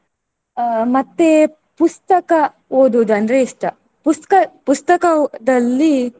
ಅಹ್ ಮತ್ತೆ ಪುಸ್ತಕ ಓದುವುದು ಅಂದ್ರೆ ಇಷ್ಟ. ಪುಸ್ತ್ಕ~ ಪುಸ್ತಕದಲ್ಲಿ.